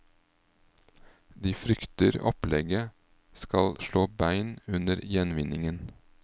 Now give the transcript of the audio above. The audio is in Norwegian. De frykter opplegget skal slå bein under gjenvinningen.